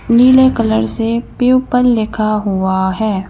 नीले कलर से प्यूपल लिखा हुआ है।